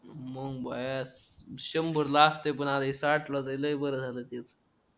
मंग भया शंबर ला असते पण साठला ए ते बरं झालं